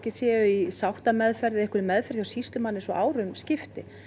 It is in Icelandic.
séu í sáttameðferð eða meðferð hjá sýslumanni svo árum skipti